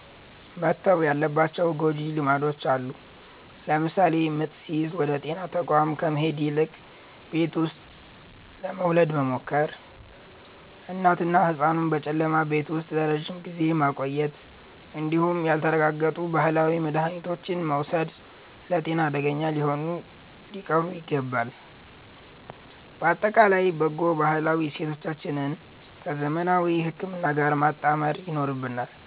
መተው ያለባቸው ጎጂ ልማዶች አሉ። ለምሳሌ ምጥ ሲይዝ ወደ ጤና ተቋም ከመሄድ ይልቅ ቤት ውስጥ ለመውለድ መሞከር፣ እናትንና ህጻኑን በጨለማ ቤት ውስጥ ለረጅም ጊዜ ማቆየት እንዲሁም ያልተረጋገጡ ባህላዊ መድሃኒቶችን መውሰድ ለጤና አደገኛ ስለሆኑ ሊቀሩ ይገባል። ባጠቃላይ በጎ ባህላዊ እሴቶቻችንን ከዘመናዊ ህክምና ጋር ማጣመር ይኖርብናል።